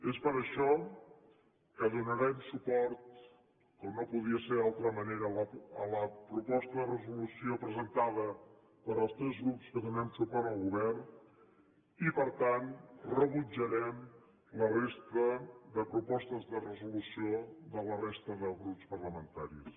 és per això que donarem suport com no podia ser d’altra manera a la proposta de resolució presentada pels tres grups que donem suport al govern i per tant rebutjarem la resta de propostes de resolució de la resta de grups parlamentaris